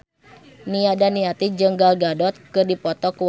Nia Daniati jeung Gal Gadot keur dipoto ku wartawan